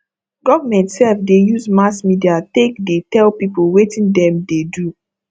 government sef dey use mass media take dey tell people wetin dem dey do